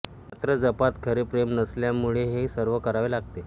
मात्र जपात खरे प्रेम नसल्यामुळे हे सर्व करावे लागते